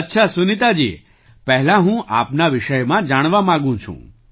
અચ્છા સુનીતાજી પહેલાં હું આપના વિષયમાં જાણવા માગું છું